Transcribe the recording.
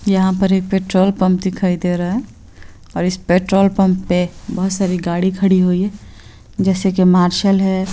यहाँ पर एक पेट्रोल पम्प दिखाई दे रहा है और इस पेट्रोल पंप बहुत सारी गाड़ी खड़ी हुई है जैसा की मार्शल है।